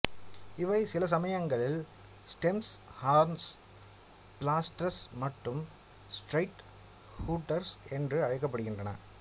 இவை சிலசமயங்களில் stems horns blasters மற்றும் ஸ்ட்ரெய்ட் ஷூட்டர்ஸ் என்று அழைக்கப்படுகின்றன